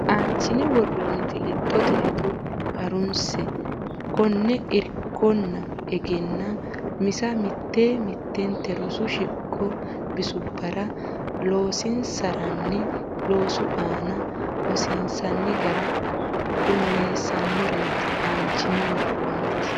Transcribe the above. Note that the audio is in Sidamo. Aanchine worroonniti lexxote hedo ha runsi keeno irkonna egennaa misa mitte mittente rosu shiqo bisubbara loosansiinsanni loosu aana hosiinsanni gara qummissannoreeti Aanchine worroonniti.